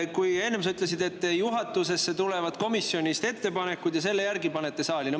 Sa enne ütlesid, et komisjonist tulevad ettepanekud juhatusse ja nende järgi panete.